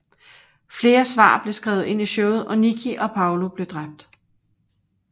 Flere svar blev skrevet ind i showet og Nikki og Paulo blev dræbt